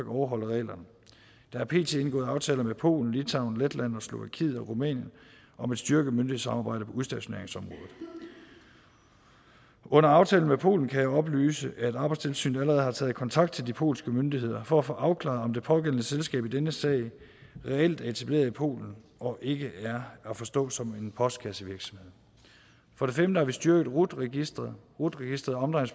overholder reglerne der er pt indgået aftaler med polen litauen letland slovakiet og rumænien om at styrke myndighedssamarbejdet på udstationeringsområdet under aftalen med polen kan jeg oplyse at arbejdstilsynet allerede har taget kontakt til de polske myndigheder for at få afklaret om det pågældende selskab i denne sag reelt er etableret i polen og ikke er at forstå som en postkassevirksomhed for det femte har vi styrket rut registeret rut registeret